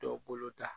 Dɔw boloda